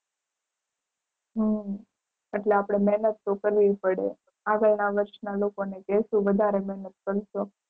હમ એટલે આપણે મહેનત તો કરવી પડે. આગળ ના વર્ષના લોકો ને કેશુ વધારે મહેનત કરજો.